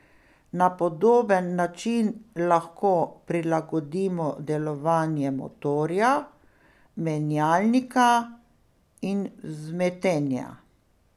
Na podoben način lahko prilagodimo delovanje motorja, menjalnika in vzmetenja.